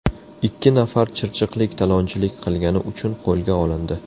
Ikki nafar chirchiqlik talonchilik qilgani uchun qo‘lga olindi.